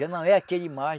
Já não é aquele mais